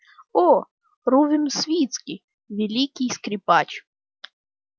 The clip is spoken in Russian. о рувим свицкий великий скрипач